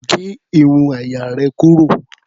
Gé irun àyà rẹ̀ kúrò.